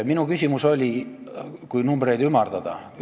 Minu küsimus oli, kui numbreid ümardada, järgmine.